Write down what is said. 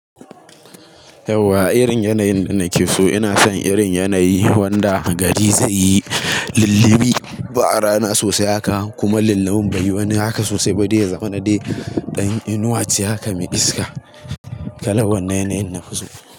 Yauwa irin yanayin da nake so ina son irin yanayi wanda gari zai yi lillibi ba rana sosai haka kuma lillabin bai wani haka sosai ba dai ya zama na dai ɗan inuwa ce haka mai iska. Kalan wannan yanayin nafi so.